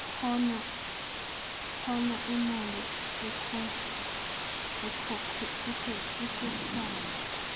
hona iimali ekhokhwayo